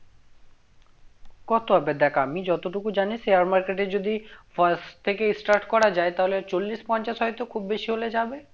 কত হবে দেখ আমি যতটুকু জানি share market এ যদি first থেকে start করা যায় তাহলে চল্লিশ পঞ্চাশ হয়তো খুব বেশি হলে যাবে